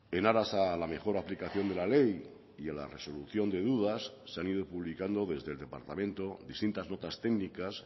en aras a la mejor aplicación de la ley y a la resolución de dudas se han ido publicando desde el departamento distintas notas técnicas